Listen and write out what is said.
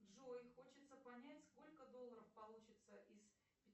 джой хочется понять сколько долларов получится из